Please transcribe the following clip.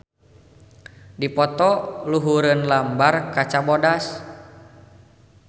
Dipoto luhureun lambar kaca bodas.